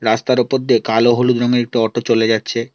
রাস্তার ওপর দিয়ে কালো হলুদ রংয়ের একটি অটো চলে যাচ্ছে।